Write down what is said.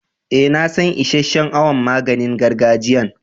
Eh, na san isheshe'n awon maganin gargajiyan.